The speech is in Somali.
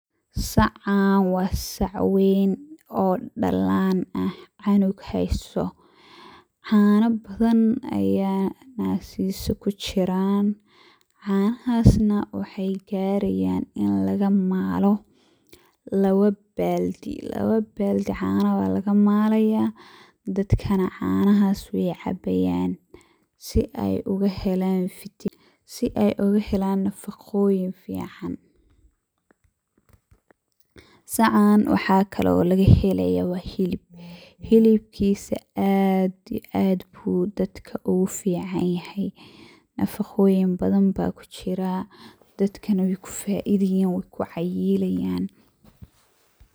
Sacaan waa sac weyn ,oo dhallaan ah ,canug haysto ,caana badan ayaa naskiisa ku jiraan ,canahaas na waxey garayaan in laga maalo lawa baaldi. Lawa baaldi caana baa laga maalaya dadka na canahaas wey cabayaan ,si aya uga helaaan vi..,si aya uga helaan nafaqoyin fiican. Sacaan waxaa kaloo lagan helaya waa hilib ,hilibkiisa aad iyo aad buu dadka ugu fiican yahay ,nafaqoyin badan baa ku jiraa ,dadkana wey ku faidayaan wey lu cayilayaan.